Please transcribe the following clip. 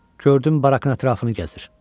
Gördüm barakın ətrafını gəzir.